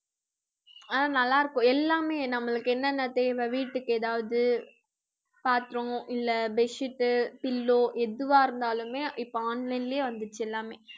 ஆஹ் நல்லா இருக்கும் எல்லாமே நம்மளுக்கு என்னென்ன தேவை வீட்டுக்கு ஏதாவது பாத்திரம் இல்ல bed sheet, pillow எதுவா இருந்தாலுமே இப்ப online லயே வந்துச்சி எல்லாமே